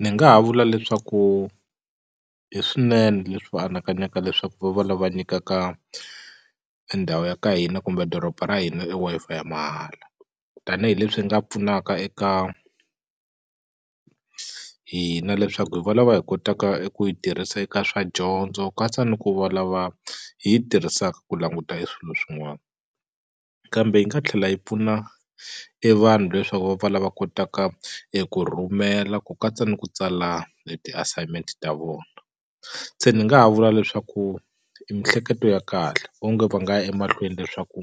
Ni nga ha vula leswaku i swinene leswi va anakanyaka leswaku va va lava nyikaka endhawu ya ka hina kumbe doroba ra hina e Wi-Fi ya mahala tanihileswi nga pfunaka eka hina leswaku hi valava hi kotaka eku yi tirhisa eka swa dyondzo katsa ni ku valava hi yi tirhisaka ku languta e swilo swin'wana kambe yi nga tlhela yi pfuna e vanhu leswaku va pfa lava kotaka eku rhumela ku katsa ni ku tsala e ti-assignment ta vona se ni nga ha vula leswaku i mihleketo ya kahle onge va nga ya emahlweni leswaku